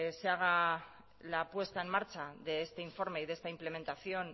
se haga la puesta en marcha de este informe y de esta implementación